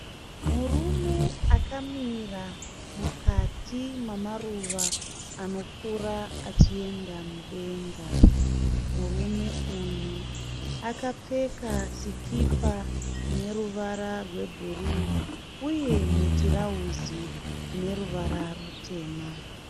Murume akamira mukati mamaruva anokura achienda mudenga. Murume uyu akapfeka sikipa ine ruvara rwebhuruu uye mutirauzi une ruvara rutema.